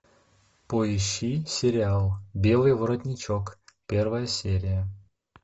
поищи сериал белый воротничок первая серия